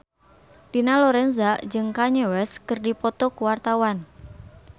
Dina Lorenza jeung Kanye West keur dipoto ku wartawan